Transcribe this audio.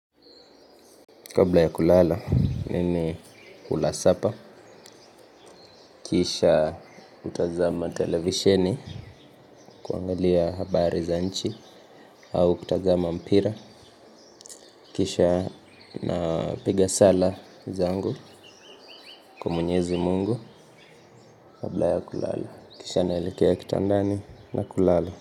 Kabla ya kulala mimi ulasapa. Kisha hutazama televisheni kuangalia habari za nchi. Au kutazama mpira kisha napiga sala zangu kwa mwenyezi mungu. Kabla ya kulala kisha naelekea kitandani na kulala.